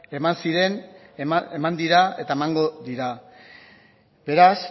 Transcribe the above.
eman ziren eman dira eta emango dira beraz